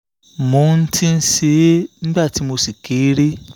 mo ti ń ṣe é nígbà tí mo ṣì kéré